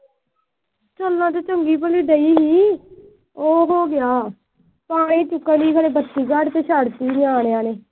ਚਲਣ ਤਾਂ ਚੰਗੀ ਭਲੀ ਦਈ ਸੀ। ਉਹ ਹੋ ਗਿਆ। ਪਾਣੀ ਚ ਕਲੀ ਆਲੇ ਛੱਡ ਤੀ ਸੀ ਨਿਆਣਿਆਂ ਨੇ।